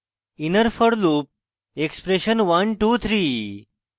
inner for loop expression 123